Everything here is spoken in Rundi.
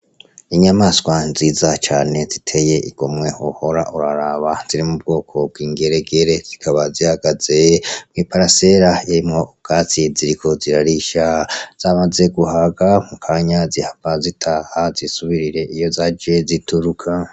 Inyamaswa nziza cane ziteye igomwe wohora uraraba ziri mu bwoko bw'ingeregere zikaba zihagaze mw'iparasera irimwo ubwatsi ziriko zirarisha, zamaze guhaga mukanya zihava zitaha zisubirire iyo zaje zituruka.